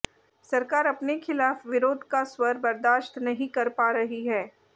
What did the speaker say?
सरकार अपने खिलाफ विरोध का स्वर बर्दाश्त नहीं कर पा रही है